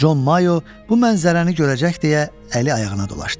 Con Mayo bu mənzərəni görəcək deyə əli ayağına dolaşdı.